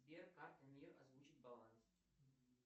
сбер карта мир озвучить баланс